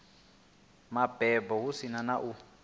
mabebo hu si na u